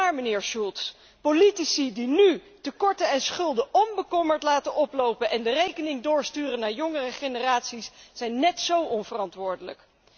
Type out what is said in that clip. Maar, meneer Schulz, politici die nu tekorten en schulden onbekommerd laten oplopen en de rekening doorsturen naar jongere generaties, zijn net zo onverantwoordelijk.